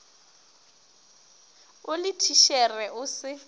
o le thitšhere o se